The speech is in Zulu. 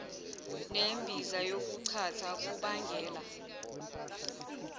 nembiza yokuchatha kubangela